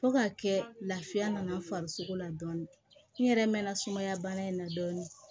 Fo ka kɛ lafiya nana farisogo la dɔɔnin nɛrɛmɛna sumaya bana in na dɔɔnin